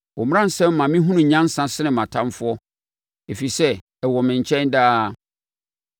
Wo mmaransɛm ma me hunu nyansa sene mʼatamfoɔ, ɛfiri sɛ ɛwɔ me nkyɛn daa.